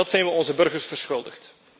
Dat zijn we onze burgers verschuldigd.